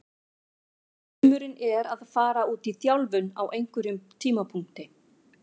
Draumurinn er að fara út í þjálfun á einhverjum tímapunkti.